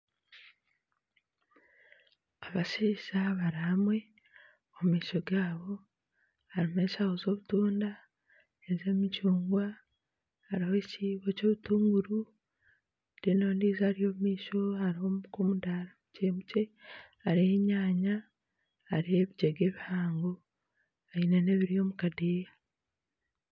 Abashaija bari hamwe omu maisho gaabo harimu eshaho z'obutunda, ez'emicungwa hariho ekiibo ky'obutuguuru reero ondiijo ari omu maisho hariho nka omudaara mukye mukye hariho enyanya hariho ebigyenga ebihango aine n'ebiri omu kadeeya.